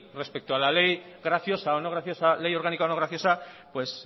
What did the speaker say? respecto a la ley graciosa o no graciosa ley orgánica no graciosa pues